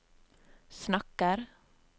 snakker